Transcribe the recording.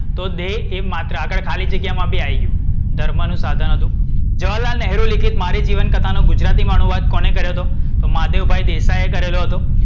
તો દેહ એક માત્ર ખાલી જગ્યામાં બી આય ગયું. ધર્મનું સાધન હતું. જવાહરલાલ નહેરુ લીખિત મારી જીવનકથાનો અનુવાદ કોણે કર્યો હતો?